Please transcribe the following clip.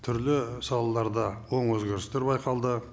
түрлі салаларда оң өзгерістер байқалды